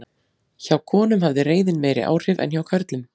Hjá konum hafði reiðin meiri áhrif en hjá körlum.